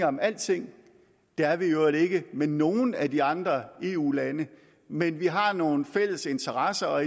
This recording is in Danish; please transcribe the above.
om alting det er vi i øvrigt ikke med nogen af de andre eu lande men vi har nogle fælles interesser og